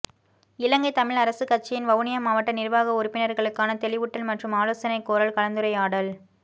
இலங்கைத் தமிழ் அரசுக் கட்சியின் வவுனியா மாவட்ட நிர்வாக உறுப்பினர்களுக்கான தெளிவூட்டல் மற்றும் ஆலோசனை கோரல் கலந்துரையாடல்